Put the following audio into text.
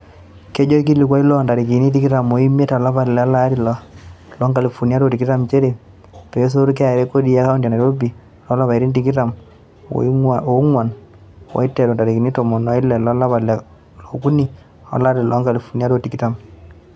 Kejo olkilikuai loo ntarikini tikitam o imiet olapa le are lolari loo nkalifuni are o tikitam nchere peesotu KRA kodi e kaonti e Nairobi lo lapaitin tikitam oo nguan eiteru intarikini tomon o ile lo lapa le okuni lo lari loo nkalifunini are o tikitam.